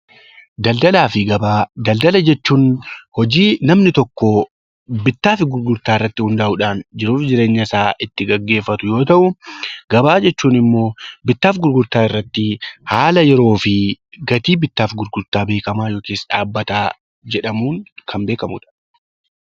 Daldalaa fi gabaa, daldala jechuun hojii namni tokko bittaa fi gurgurtaa irratti hundaa'uudhaan jiruufi jireeenya isaa geggeeffatu yoo ta'u. Gabaa jechuun immoo bittaafi gurgurtaa irratti haala yeroo fi gatii bittaafi gurgurtaa beekamaa yookiis dhaabbataa jedhamuun Kan beekamudha.